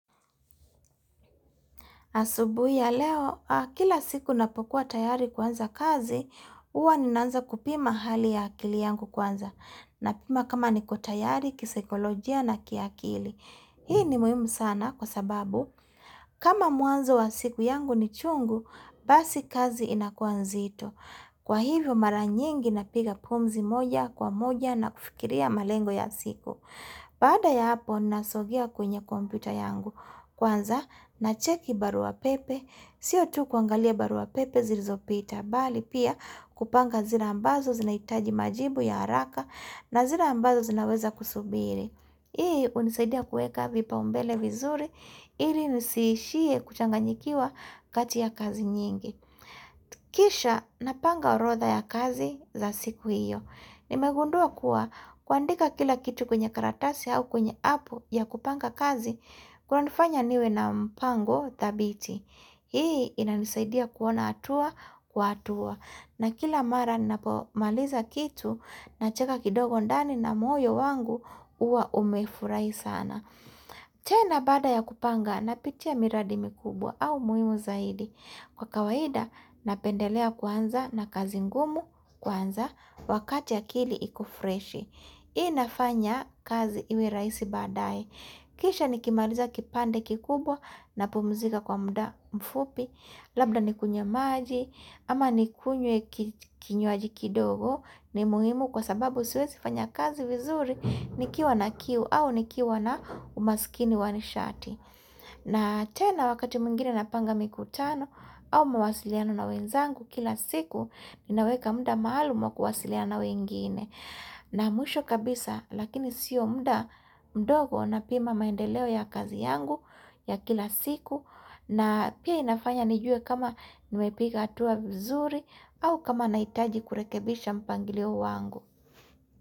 Asubuhi ya leo, kila siku napokuwa tayari kuanza kazi, uwa ninaanza kupima hali ya akili yangu kwanza na pima kama niko tayari, kisekolojia na kiakili. Hii ni muhimu sana kwa sababu kama muanzo wa siku yangu ni chungu, basi kazi inakua nzito. Kwa hivyo maranyingi napiga pumzi moja kwa moja na kufikiria malengo ya siku. Baada ya hapo nasogia kwenye komputa yangu kwanza na cheki barua pepe Sio tu kuangalia barua pepe zirizo pita bali pia kupanga zire ambazo zinaitaji majibu ya haraka na zira ambazo zinaweza kusubiri Hii unisaidia kueka vipa umbele vizuri ili nisiishie kuchanganyikiwa kati ya kazi nyingi Kisha napanga orotha ya kazi za siku iyo Nimegundua kuwa kuandika kila kitu kwenye karatasi au kwenye apu ya kupanga kazi kunanifanya niwe na mpango thabiti Hii inanisaidia kuona hatua kwa hatua na kila mara ninapomaliza kitu na cheka kidogo ndani na moyo wangu uwa umefurai sana tena bada ya kupanga napitia miradi mikubwa au muhimu zaidi Kwa kawaida, napendelea kuanza na kazi ngumu kwanza wakati ya akili iko freshi. Hii nafanya kazi iwe rahisi badai. Kisha nikimaliza kipande kikubwa na pumuzika kwa muda mfupi, labda nikunye maji, ama nikunye kinywaji kidogo ni muhimu kwa sababu siwezi fanya kazi vizuri nikiwa na kiu au nikiwa na umaskini wanishati. Na tena wakati mwingine napanga mikutano au mawasiliano na wenzangu kila siku inaweka muda maalumu kuwasiliana na wengine. Na mwisho kabisa lakini sio muda mdogo napima maendeleo ya kazi yangu ya kila siku na pia inafanya nijue kama nimepika hatua vizuri au kama naitaji kurekebisha mpangilio wangu.